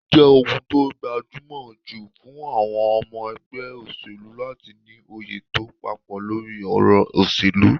Ó jẹ́ ohun tó gbajúmọ̀ jù fún àwọn ọmọ ẹgbẹ́ òṣèlú láti ní òye tó papọ̀ lórí ọ̀rọ̀ òṣèlú